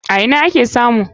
A ina ake samun?